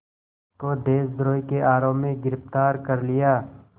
को देशद्रोह के आरोप में गिरफ़्तार कर लिया